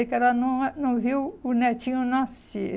Ela não não viu o netinho nascer.